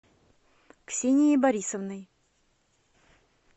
ксенией борисовной